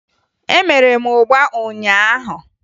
Emere m ụgba ụnyaahụ